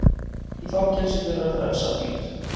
Í fangelsi fyrir að frelsa hund